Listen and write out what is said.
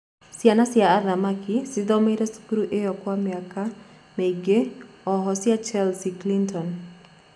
Ciana cia athamaki cithomeire thukuru iyo kwa miaka mĩĩngi oho cia Chelsea Clinton